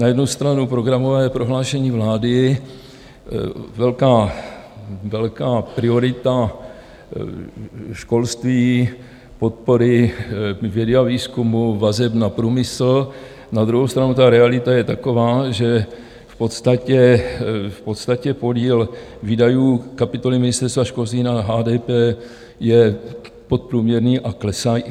Na jednu stranu programové prohlášení vlády, velká priorita školství, podpory vědy a výzkumu, vazeb na průmysl, na druhou stranu ta realita je taková, že v podstatě podíl výdajů kapitoly Ministerstva školství na HDP je podprůměrný a klesající.